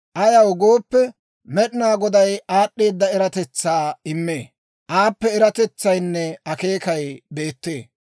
Ayaw gooppe, Med'inaa Goday aad'd'eedda eratetsaa immee; aappe eratetsaynne akeekay beettee.